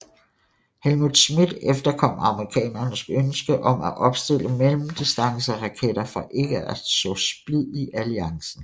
Helmut Schmidt efterkom amerikanernes ønske om at opstille mellemdistanceraketter for ikke at så splid i alliancen